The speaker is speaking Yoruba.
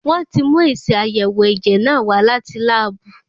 Wọ́n ti mú èsì àyẹ̀wò ẹ̀jẹ̀ náà wá láti láàbù.